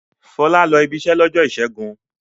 Fọlá lọ ibiṣẹ́ lọ́jọ́ ìṣẹ́gun.